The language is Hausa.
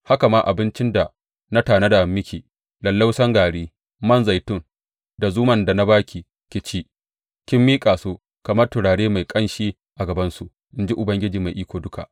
Haka ma abincin da na tanada miki, lallausan gari, man zaitun, da zuman da na ba ki ki ci, kin miƙa su kamar turare mai ƙanshi a gabansu, in ji Ubangiji Mai Iko Duka.